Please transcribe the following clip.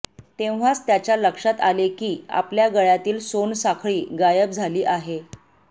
तेव्हाच त्याच्या लक्षात आले की आपल्या गळ्यातील सोनसाखळी गायब झाली आहे